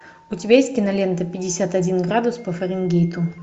у тебя есть кинолента пятьдесят один градус по фаренгейту